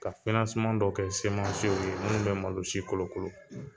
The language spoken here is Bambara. Ka dɔ kɛ ye minnu bɛ malo si kolokolo